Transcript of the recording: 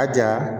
A ja